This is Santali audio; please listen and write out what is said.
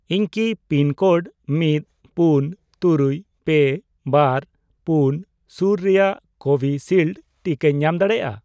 ᱤᱧ ᱠᱤ ᱯᱤᱱᱠᱳᱰ ᱢᱤᱫ, ᱯᱩᱱ, ᱛᱩᱨᱩᱭ, ᱯᱮ, ᱵᱟᱨ, ᱯᱩᱱ ᱥᱩᱨ ᱨᱮᱭᱟᱜ ᱠᱳᱵᱷᱤᱥᱤᱞᱰ ᱴᱤᱠᱟᱧ ᱧᱟᱢ ᱫᱟᱲᱮᱭᱟᱜᱼᱟ ?